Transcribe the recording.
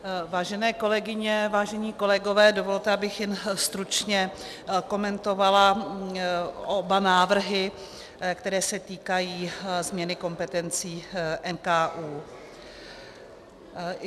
Vážené kolegyně, vážení kolegové, dovolte, abych jen stručně komentovala oba návrhy, které se týkají změny kompetencí NKÚ.